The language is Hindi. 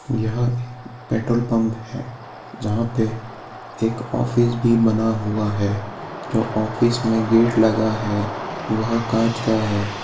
यहाँ एक पेट्रोल पंप है जहाँ पे एक ऑफिस भी बना हुआ है जो ऑफिस में गेट लगा है वह कांच का है।